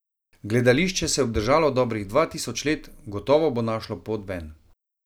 Gledališče se je obdržalo dobrih dva tisoč let, gotovo bo našlo pot ven.